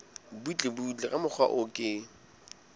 butlebutle ka mokgwa o ke